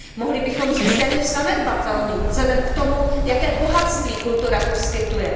Mohli bychom říct téměř zanedbatelný vzhledem k tomu, jaké bohatství kultura poskytuje.